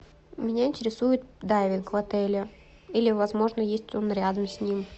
меня интересует дайвинг в отеле или возможно есть он рядом с ним